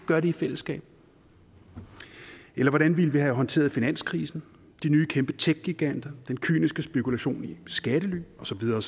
gør det i fællesskab eller hvordan ville vi have håndteret finanskrisen de nye kæmpe tech giganter den kyniske spekulation i skattely og så videre